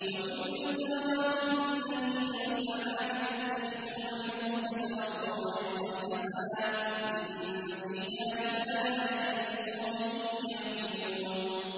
وَمِن ثَمَرَاتِ النَّخِيلِ وَالْأَعْنَابِ تَتَّخِذُونَ مِنْهُ سَكَرًا وَرِزْقًا حَسَنًا ۗ إِنَّ فِي ذَٰلِكَ لَآيَةً لِّقَوْمٍ يَعْقِلُونَ